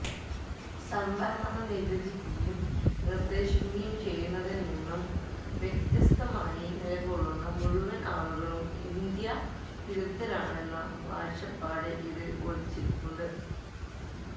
സവര്ണത നിര്വചിക്കുകയും നിര്ദ്ദേശിക്കുകയും ചെയ്യുന്നതില്നിന്നു വ്യത്യസ്തമായി നിലകൊള്ളുന്ന മുഴുവന് ആളുകളും ഇന്ത്യാവിരുദ്ധരാണെന്ന കാഴ്ചപ്പാട് ഇതില് ഒളിഞ്ഞിരിപ്പുണ്ട്